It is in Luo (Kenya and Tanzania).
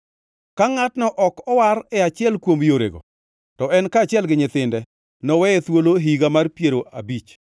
Ka ngʼatno ok owar e achiel kuom yorego, to en kaachiel gi nyithinde noweye thuolo e higa mar piero abich,